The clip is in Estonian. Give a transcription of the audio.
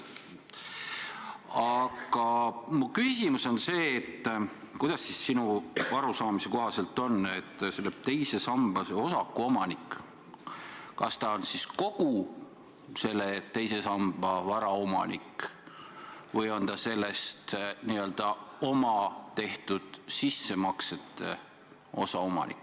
Aga mu küsimus on selline: kuidas sinu arusaamise kohaselt on, kas teise samba osaku omanik on kogu teises sambas oleva vara omanik või on ta üksnes n-ö enda tehtud sissemaksetele vastava osa omanik?